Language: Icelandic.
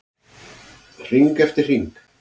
Hring eftir hring.